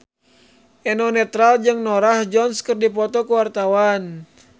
Eno Netral jeung Norah Jones keur dipoto ku wartawan